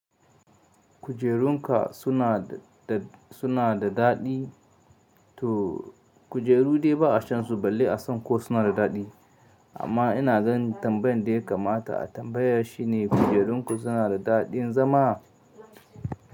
Kujerun ka suna da daɗi to kujeru dai ba a shan su, balle a san ko suna da daɗi. Amma ina ganin tambayan da ya kamata a tambaya shi ne kujerun ku suna da daɗin zama?